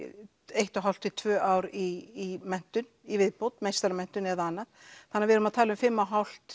ein og hálf tvö ár í menntun í viðbót meistaramenntun eða annað þannig að við erum að tala um fimm og hálf